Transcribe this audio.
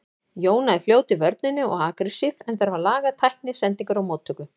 Jóna er fljót í vörninni og agressív en þarf að laga tækni, sendingar og móttöku.